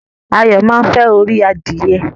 Ayo máa nfẹ orí adìye.